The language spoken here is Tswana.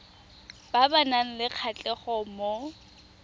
ba nang le kgatlhego mo